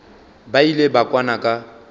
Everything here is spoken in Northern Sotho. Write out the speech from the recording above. ba ile ba kwana ka